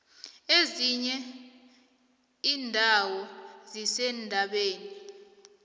ezinye indawo zisendabeni